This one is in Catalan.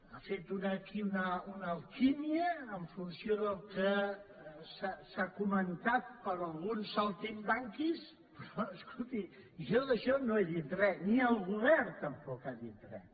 ha fet aquí una alquímia en funció del que han comentat alguns saltimbanquis però escolti jo d’això no he dit res ni el govern tampoc ha dit res